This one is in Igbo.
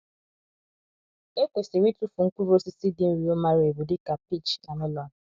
E kwesịrị ịtụfu mkpụrụ osisi dị nro mara ebu dị ka peach na melon.